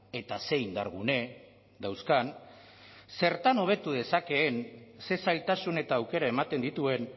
eta ze indargune dauzkan zertan hobetu dezakeen ze zailtasun eta aukera ematen dituen